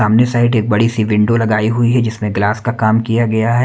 सामने साइड एक बड़ी सी विंडो लगाई हुई है जिसमें ग्लास काम किया गया है।